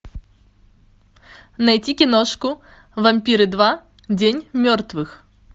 найти киношку вампиры два день мертвых